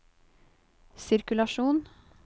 sirkulasjon